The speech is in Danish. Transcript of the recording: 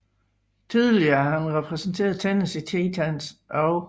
Tidligere har han repræsenteret Tennessee Titans og St